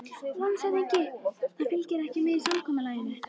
LANDSHÖFÐINGI: Það fylgdi ekki með í samkomulaginu.